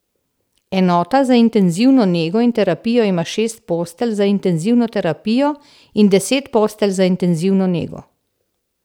Enota za intenzivno nego in terapijo ima šest postelj za intenzivno terapijo in deset postelj za intenzivno nego.